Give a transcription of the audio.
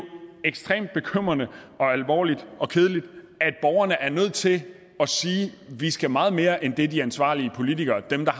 ekstremt bekymrende alvorligt og kedeligt at borgerne er nødt til at sige vi skal meget mere end det de ansvarlige politikere dem der